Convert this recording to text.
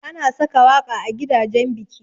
Ana saka waƙa a gidajan biki.